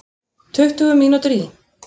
Tuttugu mínútur í